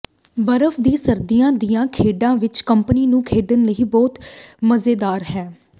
ਬਰਫ ਦੀ ਸਰਦੀਆਂ ਦੀਆਂ ਖੇਡਾਂ ਵਿਚ ਕੰਪਨੀ ਨੂੰ ਖੇਡਣ ਲਈ ਬਹੁਤ ਮਜ਼ੇਦਾਰ ਹੈ